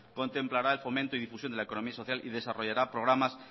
contemplará el fomento y difusión de la economía social y desarrollará programas